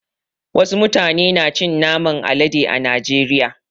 Wasu mutane na cin naman alade a najeriya.